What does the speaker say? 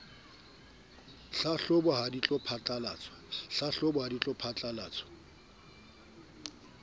tlhahlobo ha di tlo phatlalatswa